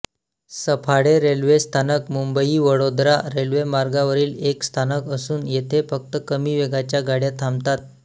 Saphale railway स्थानक मुंबईवडोदरा रेल्वेमार्गावरील एक स्थानक असून येथे फक्त कमी वेगाच्या गाड्या थांबतात